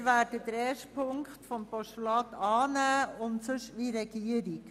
Wir werden die erste Ziffer als Postulat annehmen und halten uns sonst an die Anträge der Regierung.